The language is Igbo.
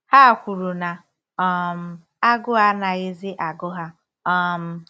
Ha kwuru na um agụụ anaghịzi agụ ha. um